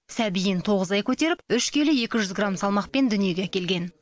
сәбиін тоғыз ай көтеріп үш келі екі жүз грамм салмақпен дүниеге әкелген